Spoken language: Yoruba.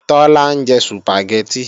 Tọ́lá ń jẹ Sùpàgẹ́tì